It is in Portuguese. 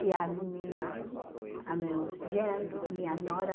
E a minha... A meus genro, a minha nora.